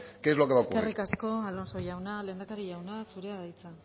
que es lo que va a ocurrir eskerrik asko alonso jauna lehendakari jauna zurea da hitza